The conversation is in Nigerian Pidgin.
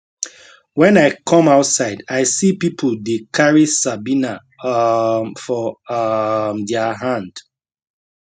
wen i come outside i see pipo dey carry sabina um for um dia hand